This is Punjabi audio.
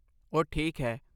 ਉਹ ਠੀਕ ਹੈ।